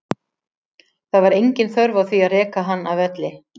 Það var engin þörf á því að reka hann af velli.